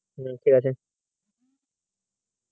হম ঠিক আছে।